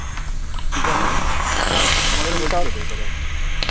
কিসব মানে আমাদের বলছিল তো ওই কথাটা